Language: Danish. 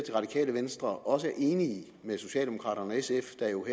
radikale venstre også er enig med socialdemokraterne og sf der jo